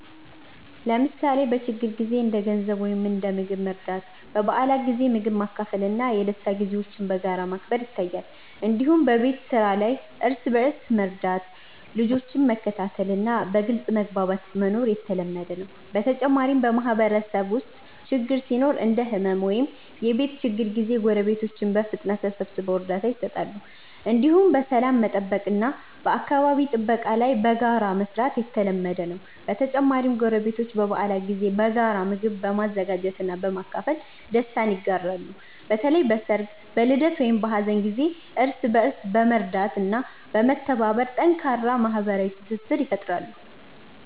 ለምሳሌ በችግር ጊዜ እንደ ገንዘብ ወይም እንደ ምግብ መርዳት፣ በበዓላት ጊዜ ምግብ ማካፈል እና የደስታ ጊዜዎችን በጋራ ማክበር ይታያል። እንዲሁም በቤት ስራ ላይ እርስ በእርስ መርዳት፣ ልጆችን መከታተል እና በግልጽ መግባባት መኖር የተለመደ ነው። በተጨማሪም በማህበረሰብ ውስጥ ችግር ሲኖር እንደ ሕመም ወይም የቤት ችግር ጊዜ ጎረቤቶች በፍጥነት ተሰብስበው እርዳታ ይሰጣሉ። እንዲሁም በሰላም መጠበቅ እና በአካባቢ ጥበቃ ላይ በጋራ መስራት የተለመደ ነው። በተጨማሪም ጎረቤቶች በበዓላት ጊዜ በጋራ ምግብ በመዘጋጀት እና በማካፈል ደስታ ይጋራሉ። በተለይ በሰርግ፣ በልደት ወይም በሀዘን ጊዜ እርስ በእርስ በመርዳት እና በመተባበር ጠንካራ ማህበራዊ ትስስር ይፈጥራሉ።